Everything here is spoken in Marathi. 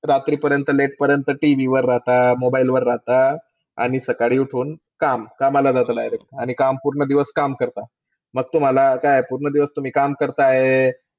रात्री पर्यंत late पर्यंत TV वर राहता. Mobile वर राहता. आणि सकाळी उठून काम. कामाला जाता direct आणि पूर्ण दिवस काम करता. मग असं वाटतं तुम्ही काम करताय तर,